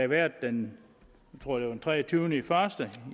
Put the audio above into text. været den tror jeg treogtyvende januar